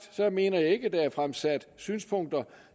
mener jeg ikke at der er fremsat synspunkter